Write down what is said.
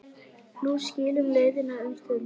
Nú skilur leiðir um stund.